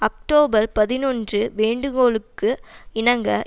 October பதினொன்று வேண்டுகோளுக்கு இணங்க